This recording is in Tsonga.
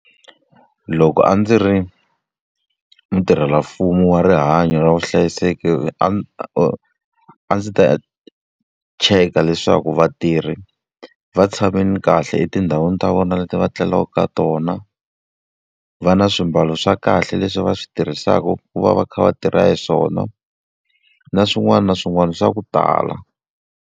Loko a ndzi ri mutirhelamfumo wa rihanyo ra vuhlayiseki, a a ndzi ta cheka leswaku vatirhi va tshamile kahle etindhawini ta vona leti va tlelaka ka tona, va na swimbalo swa kahle leswi va swi tirhisaka ku va va kha va tirha hi swona, na swin'wana na swin'wana swa ku tala.